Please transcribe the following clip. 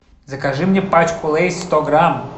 закажи мне пачку лейс сто грамм